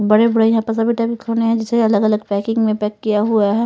बड़े बड़े यहाँ पर सभी टैंक होने हैं जिसे अलग अलग पैकिंग में पैक किया हुआ है।